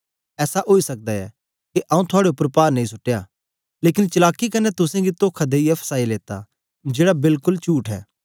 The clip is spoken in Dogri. ऐसा ओई सकदा ऐ के आंऊँ थुआड़े उपर पार नेई सुट्टया लेकन चलाकी कन्ने तुसेंगी तोखा देईयै फसाई लेता जेड़ा बेल्ल कोल चुठ ऐ